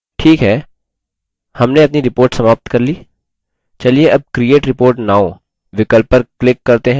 ठीक है हमने अपनी report समाप्त कर ली चलिए अब create report now विकल्प पर click करते हैं